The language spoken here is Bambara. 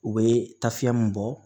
U bɛ taa fiyɛn mun bɔ